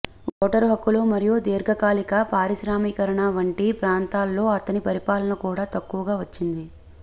voter హక్కులు మరియు దీర్ఘకాలిక పారిశ్రామీకరణ వంటి ప్రాంతాల్లో అతని పరిపాలన కూడా తక్కువగా వచ్చింది